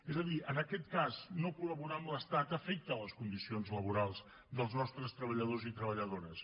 és a dir en aquest cas no col·laborar amb l’estat afecta les condicions laborals dels nostres treballadors i treballadores